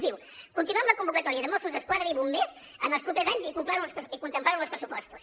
es diu continuar amb la convocatòria de mossos d’esquadra i bombers en els propers anys i contemplar ho en els pressupostos